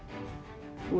þú